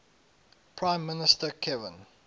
prime minister kevin